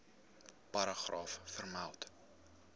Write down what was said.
paragraaf vermeld